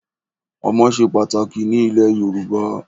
Ọmọ ṣe pàtàkì ní ilẹ̀ Yorùbá.